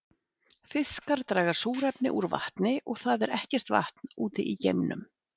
Fiskar draga súrefni úr vatni og það er ekkert vatn úti í geimnum.